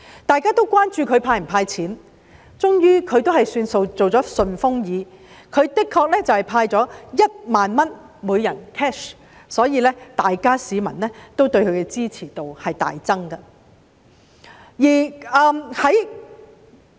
大家都關注他會否"派錢"，終於他做了"順風耳"，向每名市民派發1萬元 cash， 所以市民對他的支持度大增。